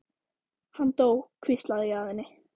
Hann dó, hvísla ég að henni.